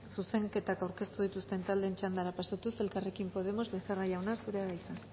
zuzenketak aurkeztu dituzten taldeen txandara pasatuz elkarrekin podemos becerra jauna zurea da hitza